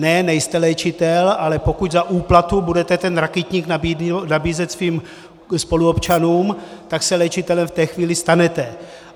Ne, nejste léčitel, ale pokud za úplatu budete ten rakytník nabízet svým spoluobčanům, tak se léčitelem v té chvíli stanete.